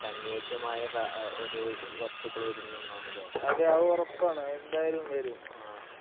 അനുയോജ്യമായ സാ ഒരു വസ്തുക്കൾ വരും എന്നാണ് ല്ലേ?. ആഹ്